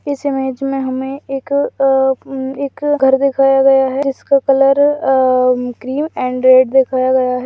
इस इमेज हमे एक घर दिखाया गया है जिसका रंग क्रीम एंड रेड दिखाया गया है।